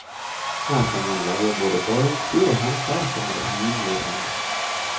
Her kan man leie både badeutstyr og håndklær for en rimelig penge.